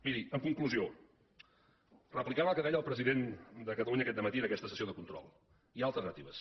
miri en conclusió replicant el que deia el president de catalunya aquest dematí en aquesta sessió de control hi ha alternatives